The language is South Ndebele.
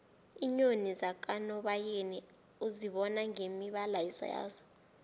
iinyoni zakanobayeni uzibona ngemibala yazo